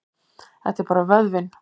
Þetta er bara vöðvinn.